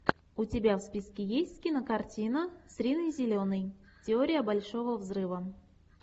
у тебя в списке есть кинокартина с риной зеленой теория большого взрыва